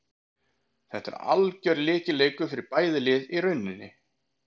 Þetta er algjör lykilleikur fyrir bæði lið í rauninni.